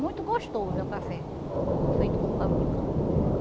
Muito gostoso é o café feito com caldo de cana.